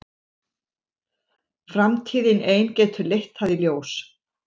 Framtíðin ein getur leitt það í ljós.